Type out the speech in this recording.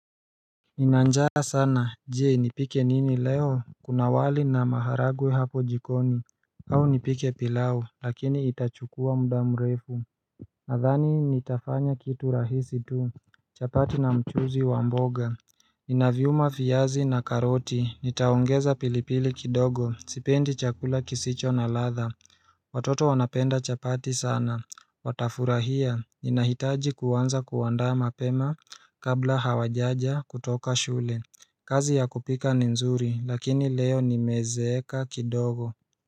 Nina njaa sana, je nipike nini leo, kuna wali na maharagwe hapo jikoni au nipike pilau, lakini itachukua muda mrefu nadhani nitafanya kitu rahisi tu chapati na mchuuzi wa mboga Ninaviuma viazi na karoti, nitaongeza pilipili kidogo, sipendi chakula kisicho na ladha Watoto wanapenda chapati sana Watafurahia, ninahitaji kuanza kuanda mapema kabla hawajaja kutoka shule kazi ya kupika ni mzuri lakini leo nimezeeka kidogo.